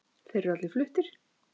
Þeir eru allir fluttir